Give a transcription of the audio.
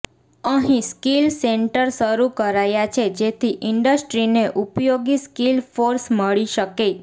અહીં skill centre શરૂ કરાયા છે જેથી ઇન્ડસ્ટ્રીને ઉપયોગી સ્કીલ ફોર્સ મળી શકે